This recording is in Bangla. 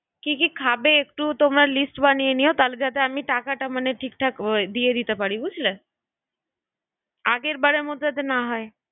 কি কি খাবে? হ্যাঁ তুই বল? তোমরা একটু লিস্ট বানিয়ে নিও তাহলে যাতে টাকাটা মানে আমি দিয়ে দিতে পারি বুঝলে আগের বারের মতো আমি এসব কিছু জানি না যেন না হয়